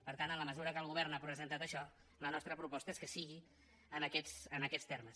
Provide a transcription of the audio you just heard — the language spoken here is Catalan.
per tant en la mesura que el govern ha presentat això la nostra proposta és que sigui en aquests termes